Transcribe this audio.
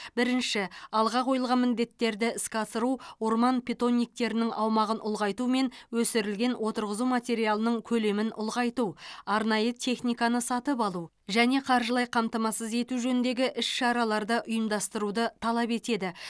бірінші алға қойылған міндеттерді іске асыру орман питомниктерінің аумағын ұлғайту мен өсірілген отырғызу материалының көлемін ұлғайту арнайы техниканы сатып алу және қаржылай қамтамасыз ету жөніндегі іс шараларды ұйымдастыруды талап етеді